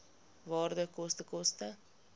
waarde koste koste